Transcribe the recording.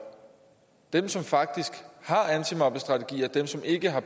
dem som faktisk har antimobningsstrategier dem som ikke har